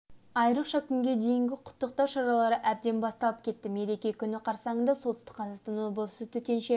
айрықша күнге дейін құттықтау шаралары әбден басталып кетті мереке күні қарсаңында солтүсті қазақстан облысы төтенше